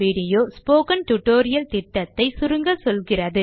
இது spoken tutorial project ஐ சுருக்கமாக சொல்லுகிறது